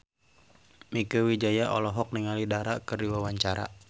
Mieke Wijaya olohok ningali Dara keur diwawancara